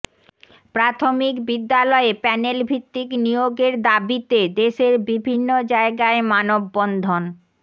প্রাথমিক বিদ্যালয়ে প্যানেলভিত্তিক নিয়োগের দাবিতে দেশের বিভিন্ন জায়গায় মানববন্ধন